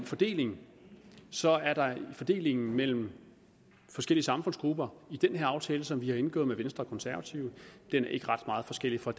fordelingen så er fordelingen mellem forskellige samfundsgrupper i den her aftale som vi har indgået med venstre og konservative ikke ret meget forskellig fra